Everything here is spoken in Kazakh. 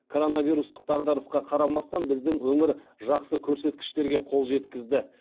коронавирустық дағдарысқа қарамастан біздің өңір жақсы көрсеткіштерге қол жеткізді